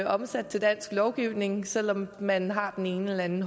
omsat til dansk lovgivning selv om man har den ene eller den